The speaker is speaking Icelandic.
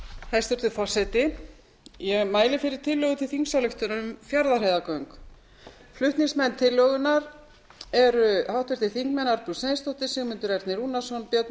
hæstvirtur forseti ég mæli fyrir tillögu til þingsályktunar um fjarðarheiðargöng flutningsmenn tillögunnar eru arnbjörg sveinsdóttir sigmundur ernir rúnarsson björn valur